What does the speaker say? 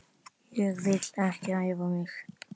Ég vil ekki æfa mig.